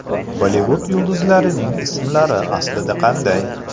Bollivud yulduzlarining ismlari aslida qanday?.